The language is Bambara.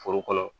Foro kɔnɔ